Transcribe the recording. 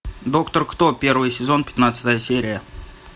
доктор кто первый сезон пятнадцатая серия